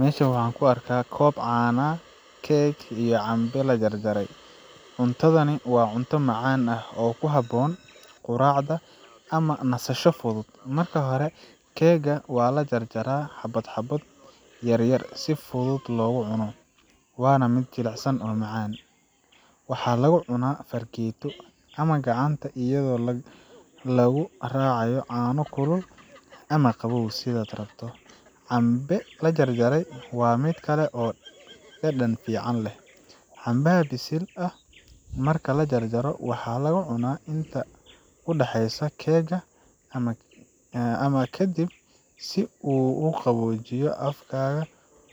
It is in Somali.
Meshan waxaa kuarkaa caano, keeg, iyo cambe la jarjaray. Cuntadani waa cunto macaan ah oo ku habboon quraacda ama nasasho fudud. Marka hore, keegga waa la jaraa xabbo xabbo yar si fudud loogu cuno, waana mid jilicsan oo macaan. Waxaa lagu cunaa fargeeto ama gacanta iyadoo lagu raacayo caano kulul ama qabow, sidaad rabto. Cambe la jarjaray waa mid kale oo dhadhan fiican leh. Cambaha bisil ah marka la jarjaro, waxaa la cunaa inta u dhaxeysa keegga ama ka dib, si uu u qaboojiyo afkaga